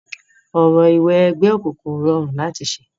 Orò ìwẹgbẹ́ òkùnkun ò rọrùn láti ṣẹ.